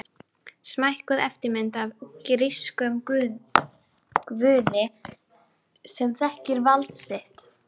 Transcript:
Smækkuð eftirmynd af grískum guði sem þekkir vald sitt.